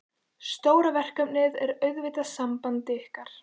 Stóra verkefnið er auðvitað samband ykkar.